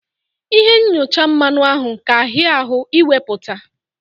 Ịhe nyọcha mmanụ ahụ ka ahịa ahụ ị wepụta.